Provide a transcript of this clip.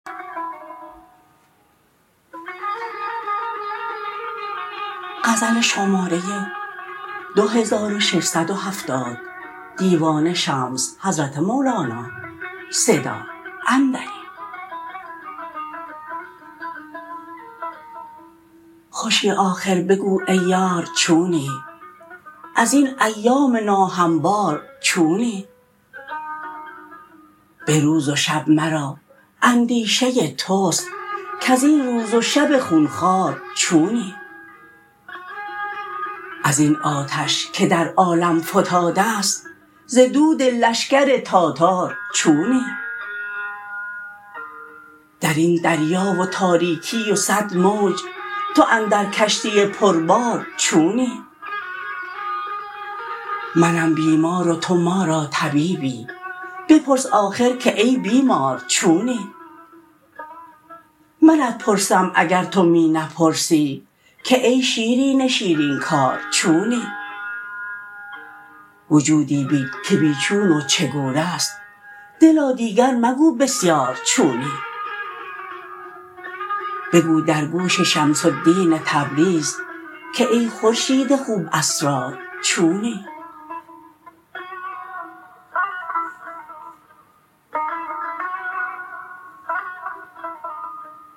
خوشی آخر بگو ای یار چونی از این ایام ناهموار چونی به روز و شب مرا اندیشه توست کز این روز و شب خون خوار چونی از این آتش که در عالم فتاده ست ز دود لشکر تاتار چونی در این دریا و تاریکی و صد موج تو اندر کشتی پربار چونی منم بیمار و تو ما را طبیبی بپرس آخر که ای بیمار چونی منت پرسم اگر تو می نپرسی که ای شیرین شیرین کار چونی وجودی بین که بی چون و چگونه ست دلا دیگر مگو بسیار چونی بگو در گوش شمس الدین تبریز که ای خورشید خوب اسرار چونی